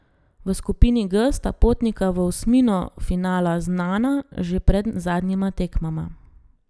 V skupini G sta potnika v osmino finala znana že pred zadnjima tekmama.